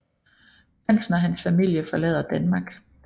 Prinsen og hans familie forlader Danmark